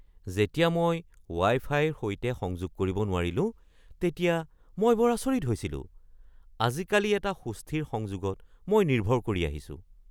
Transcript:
যেতিয়া মই ৱাই-ফাইৰ সৈতে সংযোগ কৰিব নোৱাৰিলো তেতিয়া মই বৰ আচৰিত হৈছিলো। আজিকালি এটা সুস্থিৰ সংযোগত মই নিৰ্ভৰ কৰি আহিছোঁ।